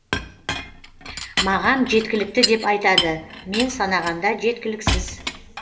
маған жеткілікті деп айтады мен санағанда жеткіліксіз